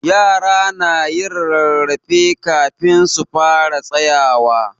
Yara na yin rarrafe kafin su fara tsayawa.